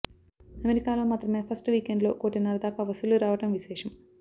అమెరికాలో మాత్రమే ఫస్ట్ వీకెండ్లో కోటిన్నర దాకా వసూళ్లు రావడం విశేషం